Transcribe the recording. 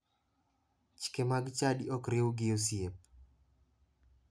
Chike mag chadi ok riw gi osiep.